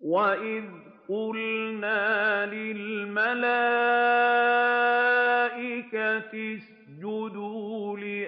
وَإِذْ قُلْنَا لِلْمَلَائِكَةِ اسْجُدُوا لِآدَمَ